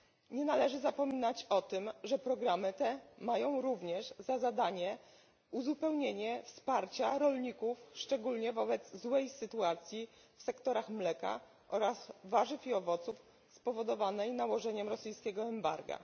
Nie należy zapominać o tym, że programy te mają również za zadanie uzupełnienie wsparcia rolników, szczególnie wobec złej sytuacji w sektorach mleka oraz warzywi owoców, spowodowanej nałożeniem rosyjskiego embarga.